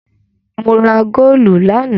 Mo ra góólù lánàá.